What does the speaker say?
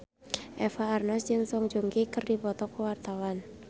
Eva Arnaz jeung Song Joong Ki keur dipoto ku wartawan